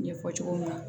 Ɲɛfɔ cogo min na